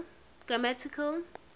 grammatical